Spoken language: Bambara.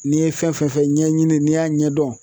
N'i ye fɛn fɛn fɔ ɲɛɲini n'i y'a ɲɛdɔn.